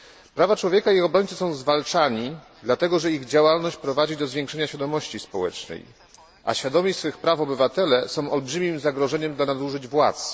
Prawa człowieka i ich obrońcy są zwalczani dlatego, że ich działalność prowadzi do zwiększenia świadomości społecznej, a świadomi swych praw obywatele są olbrzymim zagrożeniem dla nadużyć władz.